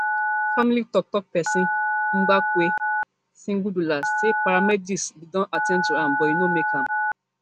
family toktok pesin mzwakhe sigudla say di paramedics bin don at ten d to am but e no make am